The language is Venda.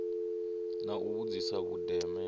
na u vhudzisa vhundeme ha